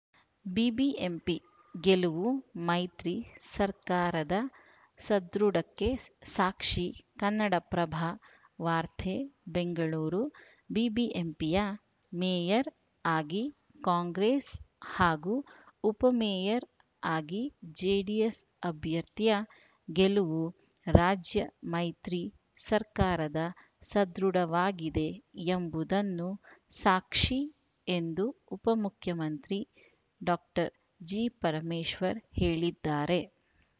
BBMP ಗೆಲುವು ಮೈತ್ರಿ ಸರ್ಕಾರದ ಸದೃಢಕ್ಕೆ ಸಾಕ್ಷಿ ಕನ್ನಡಪ್ರಭ ವಾರ್ತೆ ಬೆಂಗಳೂರು ಬಿಬಿಎಂಪಿಯ ಮೇಯರ್‌ ಆಗಿ ಕಾಂಗ್ರೆಸ್‌ ಹಾಗೂ ಉಪಮೇಯರ್‌ ಆಗಿ ಜೆಡಿಎಸ್‌ ಅಭ್ಯರ್ಥಿಯ ಗೆಲುವು ರಾಜ್ಯ ಮೈತ್ರಿ ಸರ್ಕಾರದ ಸದೃಢವಾಗಿದೆ ಎಂಬುದನ್ನು ಸಾಕ್ಷಿ ಎಂದು ಉಪಮುಖ್ಯಮಂತ್ರಿ ಡಾಕ್ಟರ್ ಜಿಪರಮೇಶ್ವರ್‌ ಹೇಳಿದ್ದಾರೆ